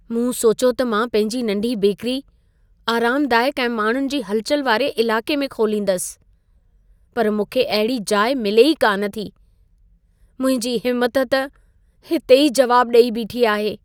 मूं सोचियो त मां पंहिंजी नंढी बेकरी आरामदाइक ऐं माण्हुनि जी हलचल वारे इलाक़े में खोलींदसि। पर मूंखे अहिड़ी जाइ मिले ई कान थी। मुंहिंजी हिमत त हिते ई जवाब ॾेई बीठी आहे।